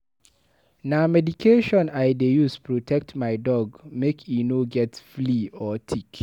Na medication I dey use protect my dog make e no get flea or tick.